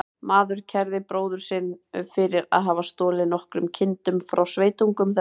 Maður kærði bróður sinn fyrir að hafa stolið nokkrum kindum frá sveitungum þeirra.